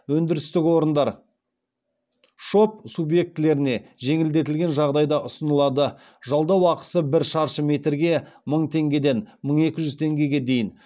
өндірістік орындар шоб субьектілеріне жеңілдетілген жағдайда ұсынылады жалдау ақысы бір шаршы метрге мың теңгеден мың екі жүз теңгеге дейін